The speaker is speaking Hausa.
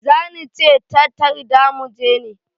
Zani ce ta tarda mu je mu